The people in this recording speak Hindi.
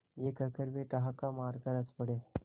यह कहकर वे ठहाका मारकर हँस पड़े